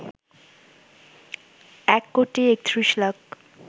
১ crore ৩১ lakh